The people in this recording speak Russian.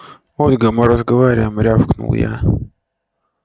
ольга мы разговариваем рявкнул я